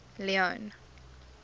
leone